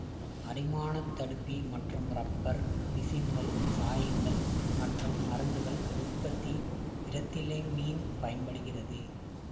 அரிமானத் தடுப்பி மற்றும் ரப்பர் பிசின்கள் சாயங்கள் மற்றும் மருந்துகள் உற்பத்தி இரெத்திலமீன் பயன்படுகிறது